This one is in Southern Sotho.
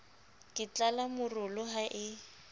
ke tlala morolo ha e